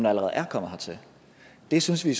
allerede er kommet hertil det synes vi